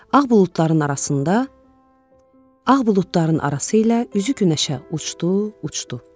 Ağ buludların arasında, ağ buludların arası ilə üzü günəşə uçdu, uçdu.